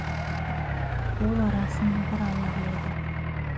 ол арасын бір алла біледі